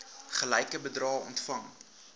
gelyke bedrae ontvang